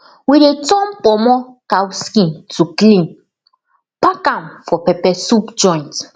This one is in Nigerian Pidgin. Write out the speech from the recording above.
we dey turn kpomo cow skin to clean pack am for pepper soup joint